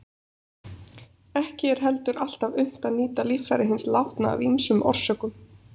Ekki er heldur alltaf unnt að nýta líffæri hins látna af ýmsum orsökum.